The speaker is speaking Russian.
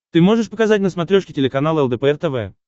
ты можешь показать на смотрешке телеканал лдпр тв